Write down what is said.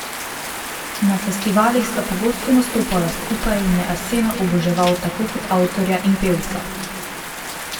Na festivalih sta pogosto nastopala skupaj in je Arsena oboževal tako kot avtorja in pevca.